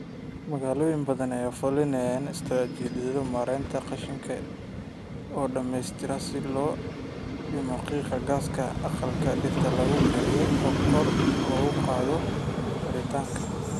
Magaalooyin badan ayaa fulinaya istaraatiijiyado maaraynta qashinka oo dhamaystiran si loo dhimo qiiqa gaaska aqalka dhirta lagu koriyo oo kor loogu qaado waaritaanka.